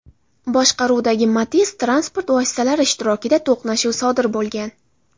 boshqaruvidagi Matiz transport vositalari ishtirokida to‘qnashuv sodir bo‘lgan.